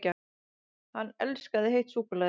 HANN ELSKAÐI HEITT SÚKKULAÐI!